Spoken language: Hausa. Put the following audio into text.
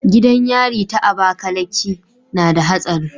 Gidan yari ta abakaliki nada hatsari